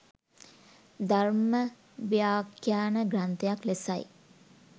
ධර්මව්‍යාඛ්‍යාන ග්‍රන්ථයක් ලෙසයි.